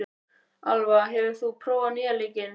Alva, hefur þú prófað nýja leikinn?